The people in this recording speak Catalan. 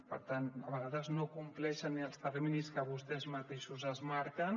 per tant a vegades no compleixen ni els terminis que vostès mateixos es marquen